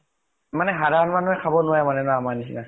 মানে সাধাৰণ মানুহে খাব নোৱাৰে মানে ন, আমাৰ নিচিনা?